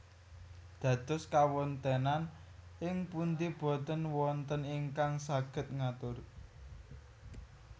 Dados kawontenan ing pundi boten wonten ingkang saged ngatur